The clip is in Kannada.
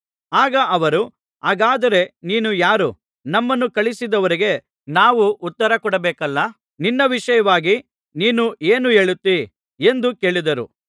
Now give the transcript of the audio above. ಆಗ ಅವರು ಹಾಗಾದರೆ ನೀನು ಯಾರು ನಮ್ಮನ್ನು ಕಳುಹಿಸಿದವರಿಗೆ ನಾವು ಉತ್ತರ ಕೊಡಬೇಕಲ್ಲಾ ನಿನ್ನ ವಿಷಯವಾಗಿ ನೀನು ಏನು ಹೇಳುತ್ತೀ ಎಂದು ಕೇಳಿದರು